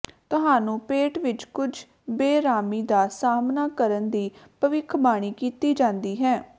ਤੁਹਾਨੂੰ ਪੇਟ ਵਿਚ ਕੁਝ ਬੇਅਰਾਮੀ ਦਾ ਸਾਹਮਣਾ ਕਰਨ ਦੀ ਭਵਿੱਖਬਾਣੀ ਕੀਤੀ ਜਾਂਦੀ ਹੈ